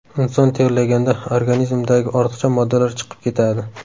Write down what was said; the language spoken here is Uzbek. Inson terlaganda organizmdagi ortiqcha moddalar chiqib ketadi.